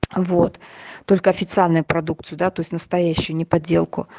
вот только официальные продукцию да то есть настоящую не подделку